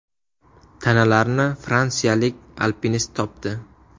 Tanalarni fransiyalik alpinist topdi.